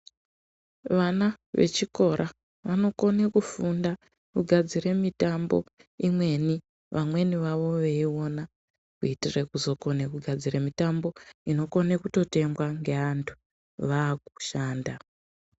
Vana ve chikora vano kone kufunda kugadzire mitambo imweni vamweni vavo vei ona kuitire kuzo kone kugadzire mitambo inokone kuto tengwa nge antu va kushanda.